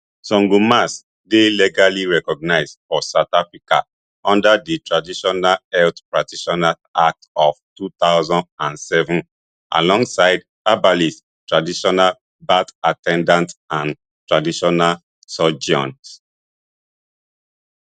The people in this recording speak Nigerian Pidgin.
sangomas dey legally recognised for south africa under di traditional health practitioners act of two thousand and seven alongside herbalists traditional birth at ten dants and traditional surgeons